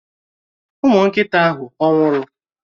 Ụmụ nkịta ahụ ọ̀ nwụrụ?